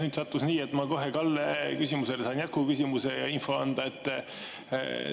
Nüüd sattus nii, et ma saan Kalle küsimusele kohe jätkuküsimuse ja info anda.